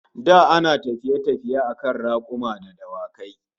Da ana tafiye-tafiye akan rakuma da dawaki